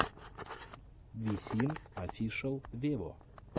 висин офишел вево